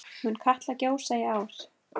Mun Katla gjósa í ár?